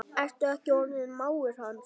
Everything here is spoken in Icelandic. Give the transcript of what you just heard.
Ertu ekki orðinn mágur hans?